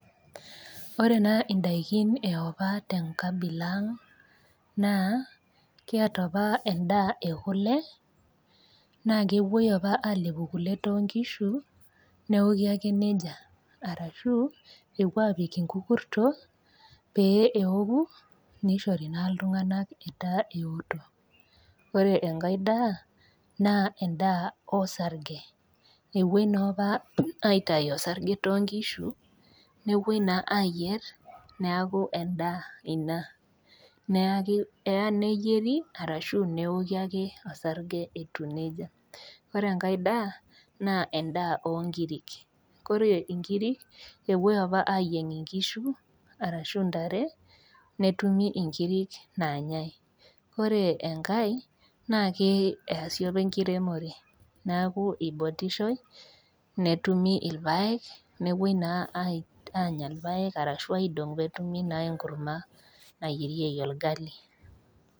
Ore naa indaikin e opa te enkanilaa aang' naa kiata opa endaa e kule, naa kepuoi opa alepu kule toonkishu, neoki ake neija, arashu epuoi apik inkukurto pee eoku neishori naa iltung'ana etaa eoto. Ore enkai daa naa endaa osarge, epuoi noopa aitayu osarge too nkishu nepuoi naa ayier, neaku naa endaa, neaku eyaa neyieri naa eidim neoki osarge itiu neija. Ore enkai daa naa endaa oo inkirik, ore inkirik, naa epuoi opa ayieng' inkishu arashu intare, netumi inkirik naanyai. Ore enkai naa keasi opa enkiremore neaku eibotishoi, netumi ilpaek, nepuoi naa aanya ilpaek arashu neidong'i naa peenyai enkurma nayierieki olgali.